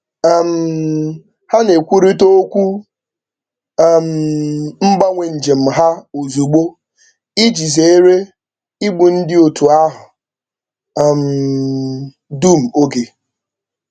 um Ha na-ekwurịta okwu um mgbanwe njem ha ozugbo iji zeere igbu ndị otu ahụ um dum oge